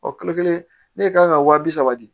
Ɔ kalo kelen ne kan ka wa bi saba di